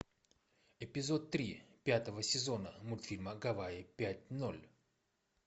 эпизод три пятого сезона мультфильма гавайи пять ноль